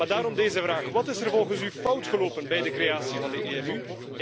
Daarom deze vraag Wat is er volgens u fout gelopen bij de creatie van de EMU?